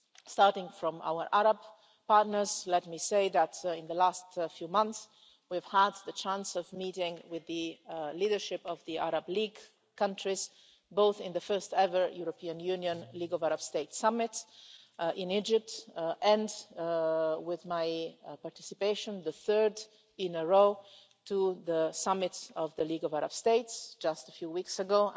Starting from our Arab partners, let me say that in the last few months we've had the chance of meeting with the leadership of the Arab League countries both in the first ever European Union League of Arab States summit in Egypt, and, with my participation, the third in a row to the summit of the League of Arab States just a few weeks